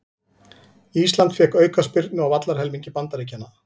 Ísland fékk aukaspyrnu á vallarhelmingi Bandaríkjanna